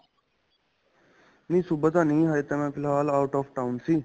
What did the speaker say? ਨਹੀਂ ਸੁਬਹਾ ਤਾਂ ਨਹੀਂ ਹਲੇ ਤਾਂ ਮੈਂ ਫ਼ਿਲਾਲ out of town ਸੀ